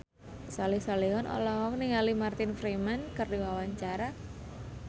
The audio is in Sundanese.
Soleh Solihun olohok ningali Martin Freeman keur diwawancara